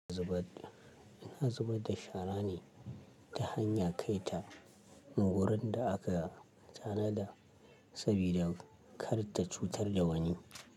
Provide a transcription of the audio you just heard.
Ina zubar da shara ne ta hanya kai ta wurin da aka tanada sabida kar ta cutar da wani.